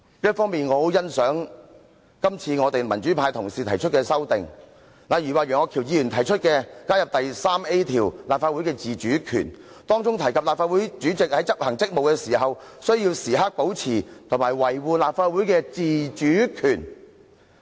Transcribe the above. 一方面，我很欣賞今次民主派同事提出的修訂，例如楊岳橋議員提出加入新訂的第 3A 條"立法會的自主權"，訂明立法會主席在執行職務時，須時刻保持和維護立法會的自主權。